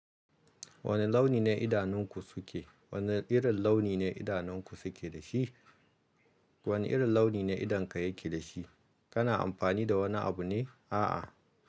Wane launi ne idanunku suke? Wane irin launi ne idanunku suke da shi? Wane irin launi ne idonka yake da shi? Kana amfani da wani abu ne? A'a.